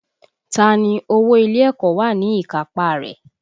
Ta ni owó ilé ẹ̀kọ́ wà ní ìkápá a rẹ̀?